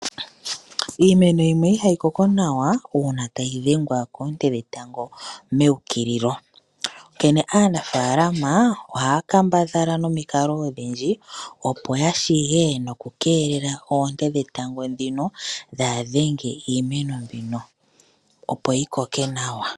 Iimeno yimwe ihaya koko nawa nuuna tayi dhengwa koonte dhetango meukililo, onkene aanafaalama ohaya kambadhala nomikalo odhindji opo yashige noku keelela oonte dhino dhaadhenge iimeno mbino opo yikoke nawa.